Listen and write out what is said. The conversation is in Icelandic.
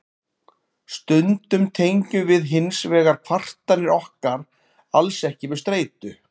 stundum tengjum við hins vegar kvartanir okkar alls ekki við streitu